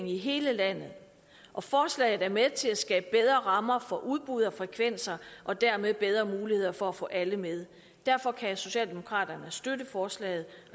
i hele landet og forslaget er med til at skabe bedre rammer for udbud af frekvenser og dermed bedre muligheder for at få alle med derfor kan socialdemokraterne støtte forslaget